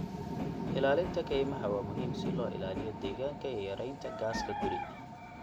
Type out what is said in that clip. Ilaalinta kaymaha waa muhiim si loo ilaaliyo deegaanka iyo yareynta gaaska guri.